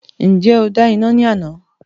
Ǹjẹ́ o dá iná ní àná?